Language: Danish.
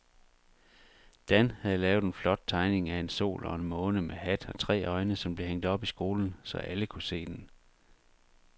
Dan havde lavet en flot tegning af en sol og en måne med hat og tre øjne, som blev hængt op i skolen, så alle kunne se den.